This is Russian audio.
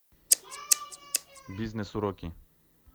бизнес уроки